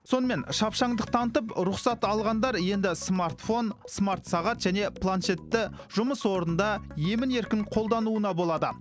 сонымен шапшаңдық танытып рұқсат алғандар енді смартфон смартсағат және планшетті жұмыс орнында емін еркін қолдануына болады